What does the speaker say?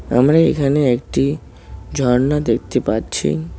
আমরা এখানে একটি ঝর্ণা দেখতে পারছি।